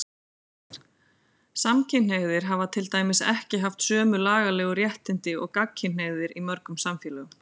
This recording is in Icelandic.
Samkynhneigðir hafa til dæmis ekki haft sömu lagalegu réttindi og gagnkynhneigðir í mörgum samfélögum.